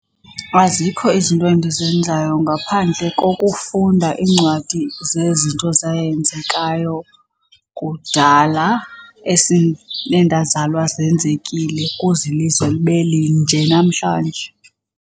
Azikho izinto endizenzayo ngaphandle kokufunda iincwadi zezinto zayenzekayo kudala nendazalwa zenzekile kuze ilizwe libe linje namhlanje.